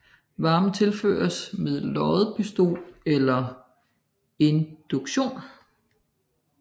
Varmen tilføres med loddepistol eller induktion